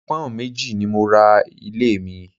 Pọ́ùn méjì ni mo ra ilé mi